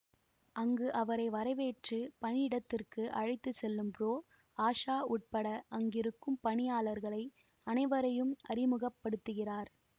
அங்கு அவரை வரவேற்று பணியிடத்திற்கு அழைத்துசெல்லும் புரோ ஆஷா உட்பட அங்கிருக்கும் பணியாளர்களை அனைவரையும் அறிமுகபடுத்துகிறார்